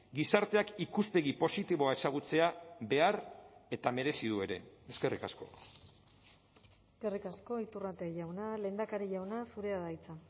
gizarteak ikuspegi positiboa ezagutzea behar eta merezi du ere eskerrik asko eskerrik asko iturrate jauna lehendakari jauna zurea da hitza